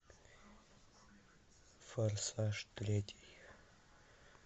форсаж третий